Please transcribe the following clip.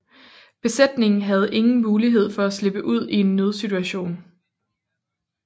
Besætningen havde ingen mulighed for at slippe ud i en nødsituation